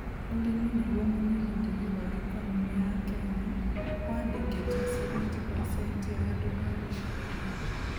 ũrĩmi nĩgwo mũnyiginyigi wa ikonomĩ ya Kenya, wandĩkĩte 70%ya andũ a gĩcagi